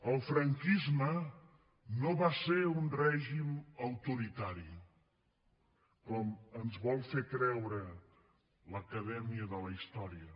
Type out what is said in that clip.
el franquisme no va ser un règim autoritari com ens vol fer creure l’acadèmia de la història